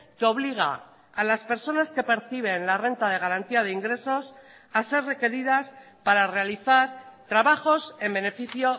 que obliga a las personas que perciben la renta de garantía de ingresos a ser requeridas para realizar trabajos en beneficio